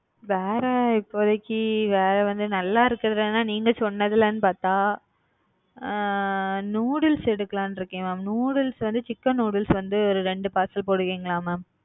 வேற இப்போதைக்கு வேற வந்து நல்லா இருக்குறதுல நீங்க சொன்னதுலனு பாத்தா அ noodles எடுக்கலாம்னு இருக்கேன் mam noodles வந்து chicken noodles ஒரு வந்து ரெண்டு பார்சல் போடுவீங்களா? mam